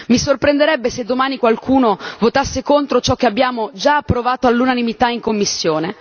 Mi sorprenderebbe se domani qualcuno votasse contro ciò che abbiamo già approvato all'unanimità in commissione.